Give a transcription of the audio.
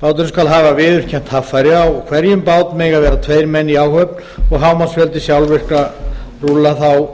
báturinn skal hafa viðurkennt haffæri á hverjum bát mega vera tveir menn í áhöfn og er hámarksfjöldi sjálfvirkra rúlla